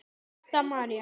Setta María.